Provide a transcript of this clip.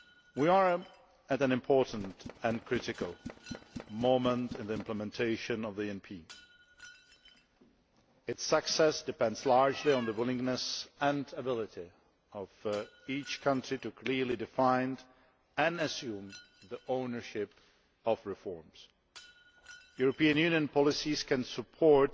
We are at an important even critical moment in the implementation of the ENP. Its success depends largely on the willingness and ability of each country to clearly define and assume the ownership of reforms. European Union policies can support